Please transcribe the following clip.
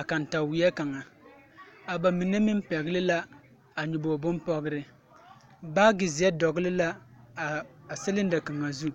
a kantaweɛ kaŋa a ba mine meŋ pɛgle la a nyɔbogre binpɔgre baagi zeɛ dɔgle la a cylinder kaŋa zu.